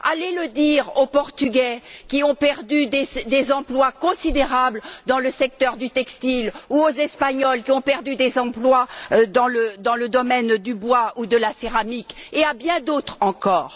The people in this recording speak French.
Allez le dire aux Portugais qui ont perdu des emplois considérables dans le secteur du textile ou aux Espagnols qui ont perdu des emplois dans le domaine du bois ou de la céramique et à bien d'autres encore.